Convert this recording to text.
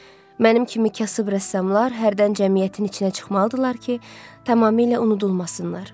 Mənim kimi kasıb rəssamlar hərdən cəmiyyətin içinə çıxmalıdırlar ki, tamamilə unudulmasınlar.